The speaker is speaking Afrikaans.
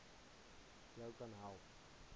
jou kan help